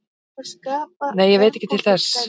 Nei, ég veit ekki til þess